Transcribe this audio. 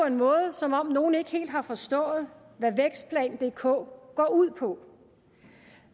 en måde som om nogle ikke helt har forstået hvad vækstplan dk går ud på